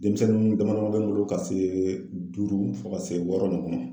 Denmisɛnnin damadama bɛ n bolo ka duuru fo ka se wɔɔrɔ ninnu ma.